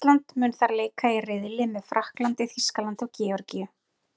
Ísland mun þar leika í riðli með Frakklandi, Þýskalandi og Georgíu.